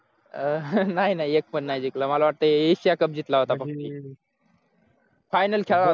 अह नाय नाय एक पण नाही जिंकलं मला वाटतं asia cup जिंकला होता फक्त final खेळला होता